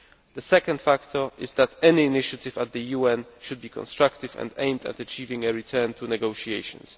The second factor is that any initiative at the UN should be constructive and aimed at achieving a return to negotiations.